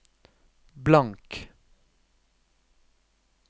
blank